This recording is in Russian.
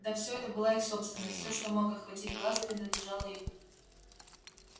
да всё это была их собственность всё что мог охватить глаз принадлежало им